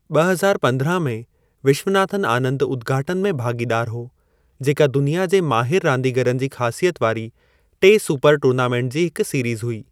ॿ हज़ारु पंद्राहां में, विश्वनाथन आनंद उद्घाटन में भाॻीदार हो, जेका दुनिया जे माहिर रांदीगरनि जी ख़ासियत वारी टे सुपर-टूर्नामेंट जी हिक सीरिज़ हुई।